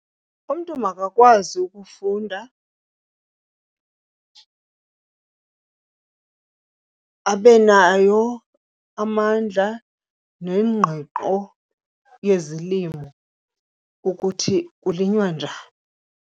Umntu makakwazi ukufunda, abe nayo amandla nengqiqo yezilimo ukuthi kulinywa njani.